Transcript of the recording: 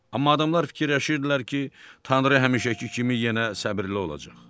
Amma adamlar fikirləşirdilər ki, Tanrı həmişəki kimi yenə səbirli olacaq.